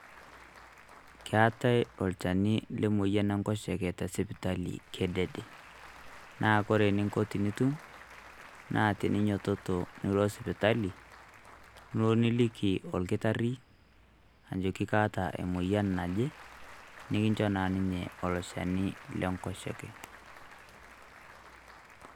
Keetae olchani le moyian enkoshoke tesipitali kedede. Na kore eninko tenitum, na teninyototo nilo sipitali, nilo niliki olkitarri, ajoki kaata emoyian naje, nikincho naa ninye elo shani lenkoshoke.